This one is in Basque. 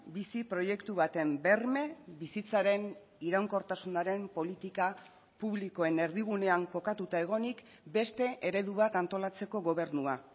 bizi proiektu baten berme bizitzaren iraunkortasunaren politika publikoen erdigunean kokatuta egonik beste eredu bat antolatzeko gobernua